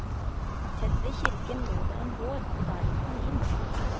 Tett ved kirken lå det en gård, og der gikk han inn.